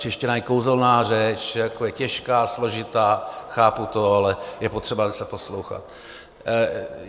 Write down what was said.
Čeština je kouzelná řeč, je těžká, složitá, chápu to, ale je potřeba se poslouchat.